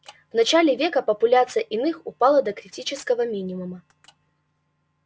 в начале века популяция иных упала до критического минимума